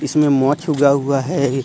इसमें मोक्ष उगा हुआ है।